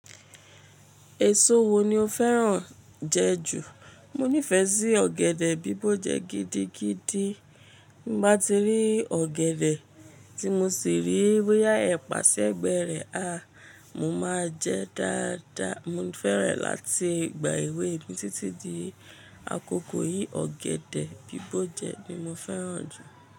Èso wo ni o fẹ́ràn lati jẹ ju? Mo nífẹ̀ẹ́ sí ọ̀gẹ̀dẹ̀ bíbọ̀ gidigidi. Bí mo bá ti rí ọ̀gẹ̀dẹ̀ tí mo sì rí boyà ẹ̀ pàṣi egbẹ́rẹ́, Mo máa jẹ dáadáa. Mo fẹ́rẹ̀ láti gbà ìwé mi títí di àkókò yìí. Ọ̀gẹ̀dẹ̀ bíbọ̀je ní mo fẹ́ràn jù.